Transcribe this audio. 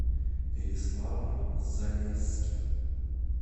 переславль залесский